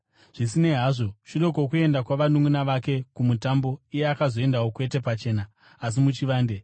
Zvisinei hazvo, shure kwokuenda kwavanunʼuna vake kuMutambo, iye akazoendawo, kwete pachena, asi muchivande.